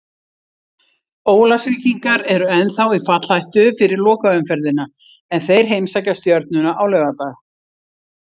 Ólafsvíkingar eru ennþá í fallhættu fyrir lokaumferðina en þeir heimsækja Stjörnuna á laugardag.